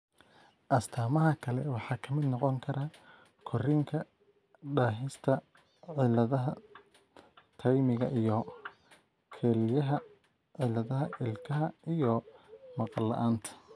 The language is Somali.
Astaamaha kale waxaa ka mid noqon kara korriinka daahista, cilladaha taymiga iyo kelyaha, cilladaha ilkaha, iyo maqal la'aanta.